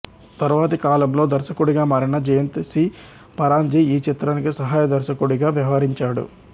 తర్వాతి కాలంలో దర్శకుడిగా మారిన జయంత్ సి పరాన్జీ ఈ చిత్రానికి సహాయ దర్శకుడిగా వ్యవహరించాడు